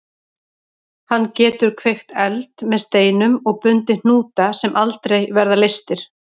Hann getur kveikt eld með steinum og bundið hnúta sem aldrei verða leystir.